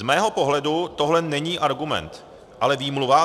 Z mého pohledu tohle není argument, ale výmluva.